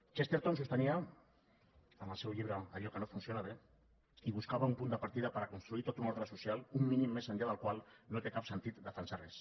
chesterton sostenia en el seu llibre allò que no funciona bé i buscava un punt de partida per a construir tot un ordre social un mínim més enllà del qual no té cap sentit defensar res